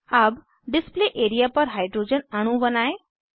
अब display area पर hydrogen अणु बनायें